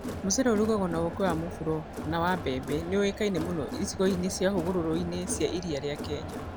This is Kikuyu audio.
Mũcere ũrugagio na ũũkĩ wa mũburo na wa mbembe nĩ ũĩkaine mũno icigo-inĩ cia hũgũrũrũ-inĩ cia iria rĩa Kenya.